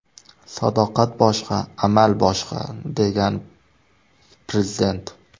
Sadoqat boshqa, amal boshqa”, degan Prezident.